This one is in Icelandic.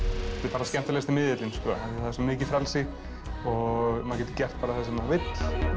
er skemmtilegasti miðillinn því það er svo mikið frelsi og maður getur gert það sem maður vill